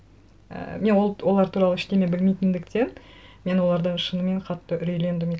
ііі мен ол олар туралы ештеңе білмейтіндіктен мен олардан шынымен қатты үрейлендім